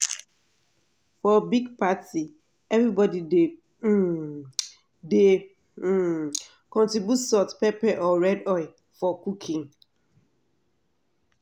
for big party everybody dey um dey um contribute salt pepper or red oil for cooking.